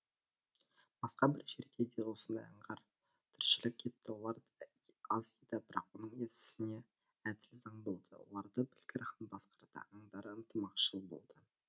басқа бір жерде осындай аңдар тіршілік етті олар аз еді бірақ оның есесіне әділ заң болды оларды білгір хан басқарды аңдар ынтымақшыл болды